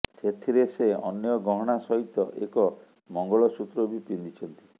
ସେଥିରେ ସେ ଅନ୍ୟ ଗହଣା ସହିତ ଏକ ମଙ୍ଗଳସୂତ୍ର ବି ପିନ୍ଧିଛନ୍ତି